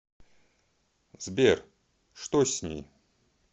сбер что с ней